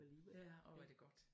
Ja orh hvor er det godt